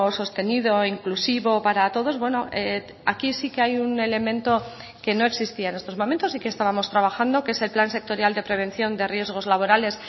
sostenido inclusivo para todos aquí sí que hay un elemento que no existía en estos momentos y que estábamos trabajando que es el plan sectorial de prevención de riesgos laborales